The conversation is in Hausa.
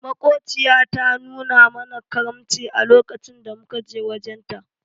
Makociya ta nuna mana karamci a lokacin da muka je wajen ta.